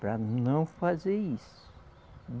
Para não fazer isso.